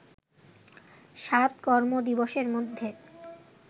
সাত কর্মদিবসের মধ্যে